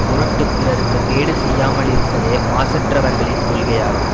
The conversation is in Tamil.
பொருட்டு பிறருக்கு கேடு செய்யாமலிருப்பதே மாசற்றவர்களின் கொள்கையாகும்